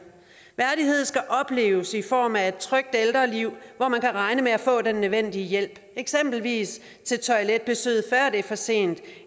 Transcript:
værdighed skal opleves i form af et trygt ældreliv hvor man kan regne med at få den nødvendige hjælp eksempelvis til toiletbesøg før det er for sent